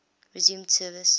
resumed service